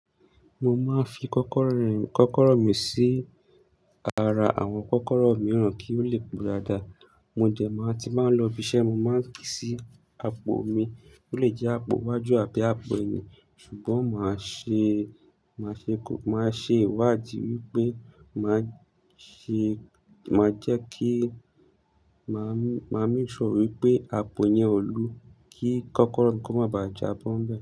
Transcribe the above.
Mo máa ń fi kọ́kọ́rọ́ rìn kọ́kọ́rọ́ mi sí ara àwọn kọ́kọ́rọ́ mìíràn kí ó lè pe daadaa Mo dẹ máa ti máa ń lọ ibiṣẹ́, mo máa ń ki sí àpò mi, ó lè jẹ àpò iwájú àbí àpò ẹyin. Ṣùgbọ́n máa ṣe, máa ṣe, máa ṣe ìwádìí wípé màá ṣe, màá jẹ́ kí, mà á, mà á make sure wípé àpò yẹn o lu kí kọ́kọ́rọ́ ko má bàà jábọ́ ń bẹ́.